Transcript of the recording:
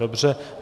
Dobře.